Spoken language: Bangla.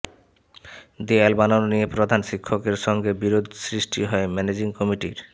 দেয়াল বানানো নিয়ে প্রধান শিক্ষকের সঙ্গে বিরোধ সৃষ্টি হয় ম্যানেজিং কমিটির